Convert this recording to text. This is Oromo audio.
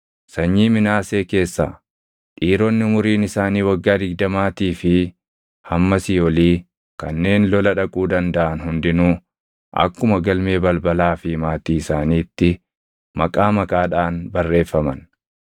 Sanyii Minaasee keessaa: Dhiironni umuriin isaanii waggaa digdamaatii fi hammasii olii kanneen lola dhaquu dandaʼan hundinuu akkuma galmee balbalaa fi maatii isaaniitti maqaa maqaadhaan barreeffaman.